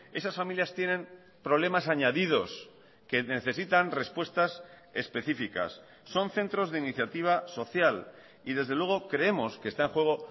esas familias tienen problemas añadidos que necesitan respuestas específicas son centros de iniciativa social y desde luego creemos que está en juego